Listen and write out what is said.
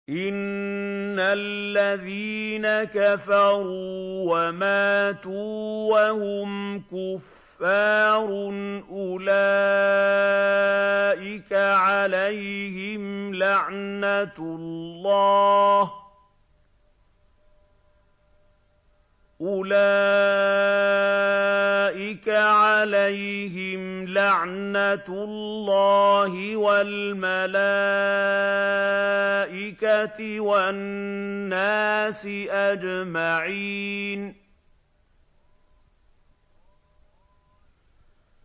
إِنَّ الَّذِينَ كَفَرُوا وَمَاتُوا وَهُمْ كُفَّارٌ أُولَٰئِكَ عَلَيْهِمْ لَعْنَةُ اللَّهِ وَالْمَلَائِكَةِ وَالنَّاسِ أَجْمَعِينَ